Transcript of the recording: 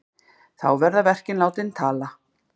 Þá verði verkin látin tala.